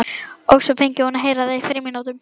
Og svo fengi hún að heyra það í frímínútunum.